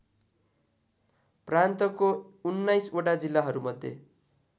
प्रान्तको १९वटा जिल्लाहरूमध्ये